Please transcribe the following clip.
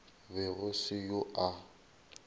be go se yo a